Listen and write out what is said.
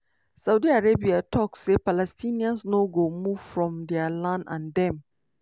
saudi arabia tok say palestinians no go " move" from dia land and dem